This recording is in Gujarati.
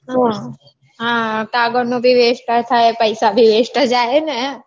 હા કાગળનો બી west થાય પૈસા બી west જાય હે ને